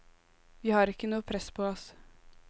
Vi har ikke noe press på oss.